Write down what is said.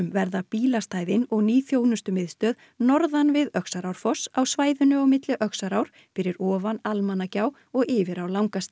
verða bílastæðin og ný þjónustumiðstöð norðan við á svæðinu á milli fyrir ofan Almannagjá og yfir á